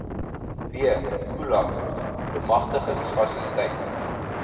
b khula bemagtigingsfasiliteit